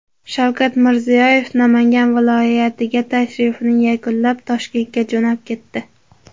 Shavkat Mirziyoyev Namangan viloyatiga tashrifini yakunlab, Toshkentga jo‘nab ketdi.